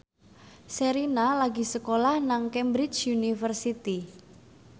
Sherina lagi sekolah nang Cambridge University